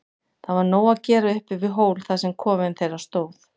Það var nóg að gera uppi við hól þar sem kofinn þeirra stóð.